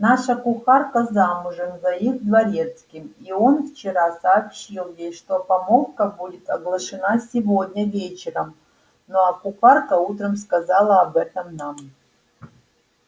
наша кухарка замужем за их дворецким и он вчера сообщил ей что помолвка будет оглашена сегодня вечером ну а кухарка утром сказала об этом нам